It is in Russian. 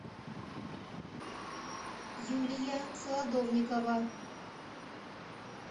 юлия солодовникова